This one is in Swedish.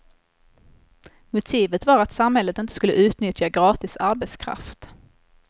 Motivet var att samhället inte skulle utnyttja gratis arbetskraft.